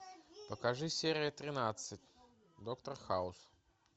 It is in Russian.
покажи серия тринадцать доктор хаус